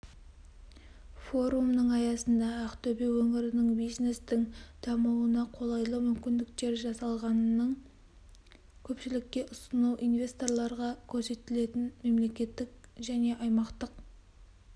форумның аясында ақтөбе өңірінің бизнестің дамуына қолайлы мүмкіндіктер жасалғанының көпшілікке ұсыну инвесторларға көрсетілетін мемлекеттік және аймақтық